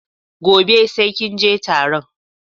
Gobe sai kinje taron